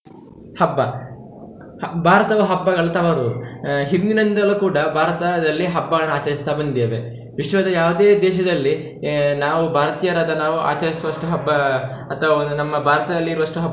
ಹಬ್ಬ. ಭಾರತವು ಹಬ್ಬದ ತವರೂರು ಆಹ್ ಹಿಂದಿನಿಂದಲೂ ಕೂಡ ಭಾರತದಲ್ಲಿ ಹಬ್ಬಗಳನ್ನು ಆಚರಿಸ್ತಾ ಬಂದಿದ್ದೇವೆ, ವಿಶ್ವದ ಯಾವ್ದೇ ದೇಶದಲ್ಲಿ ಆಹ್ ನಾವು ಭಾರತೀಯರಾದ ನಾವು ಆಚರಿಸುವಷ್ಟು ಹಬ್ಬ ಅಥವಾ ಒಂದು ನಮ್ಮ ಭಾರತದಲ್ಲಿ ಇರುವಷ್ಟು ಹಬ್ಬ.